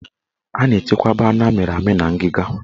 A na-echekwaba anụ amịrị amị na ngiga